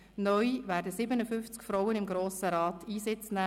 Neu werden 57 Frauen im Grossen Rat Einsitz nehmen.